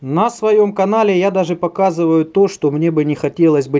на своём канале я даже показываю то что мне бы не хотелось бы